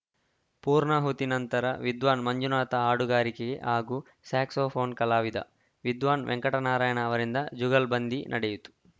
ಪೂರ್ಣಾಹುತಿ ನಂತರ ವಿದ್ವಾನ್‌ ಮಂಜುನಾಥ ಹಾಡುಗಾರಿಕೆ ಹಾಗೂ ಸ್ಯಾಕ್ಸೋಫೋನ್‌ ಕಲಾವಿದ ವಿದ್ವಾನ್‌ ವೆಂಕಟನಾರಾಯಣ ಅವರಿಂದ ಜುಗಲ್‌ಬಂದಿ ನಡೆಯಿತು